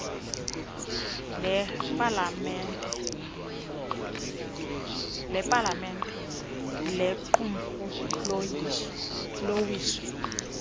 lepalamente lequmrhu lowiso